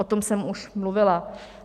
O tom jsem už mluvila.